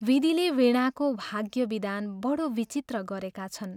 विधिले वीणाको भाग्यविधान बडो विचित्र गरेका छन्।